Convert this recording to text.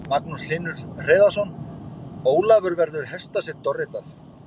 Magnús Hlynur Hreiðarsson: Ólafur verður hestasveinn Dorritar?